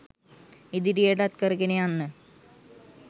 ඉදිරියටත් කරගෙන යන්න